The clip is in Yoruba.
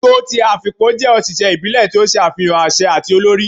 ogo ti Afikpo jẹ oṣiṣẹ ibile ti o ṣe afihan aṣẹ ati olori